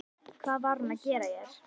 Hvað var hún að gera hér?